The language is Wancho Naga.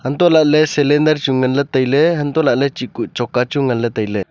untoh lahley cylinder chu nganley tailey untoh lahley chih kuh choka chu nganley tailey.